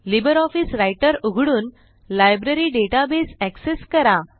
LibreOffice Writer उघडून library database access करा